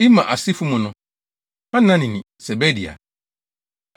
Imer asefo mu no: Hanani ne Sebadia.